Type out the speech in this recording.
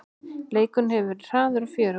Leikurinn hefur verið hraður og fjörugur